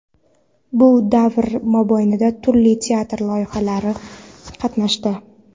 Bu davr mobaynida turli teatr loyihalarida qatnashdi.